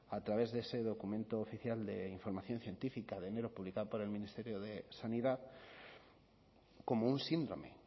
a través de ese documento oficial de información científica de enero publicada por el ministerio de sanidad como un síndrome